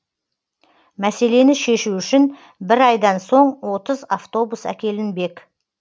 мәселені шешу үшін бір айдан соң отыз автобус әкелінбек